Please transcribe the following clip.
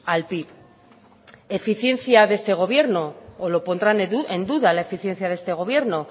al pib eficiencia de este gobierno o lo pondrán en duda la eficiencia de este gobierno